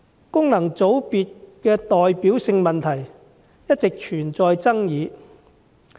功能界別的代表性問題一直存在爭議。